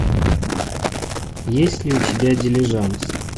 есть ли у тебя дилижанс